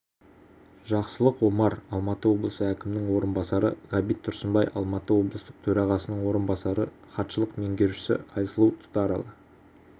жақсылық омар алматы облысы әкімінің орынбасары ғабит тұрсынбай алматы облыстық төрағасының орынбасары хатшылық меңгерушісі айсұлу тұрарова